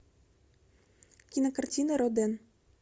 кинокартина роден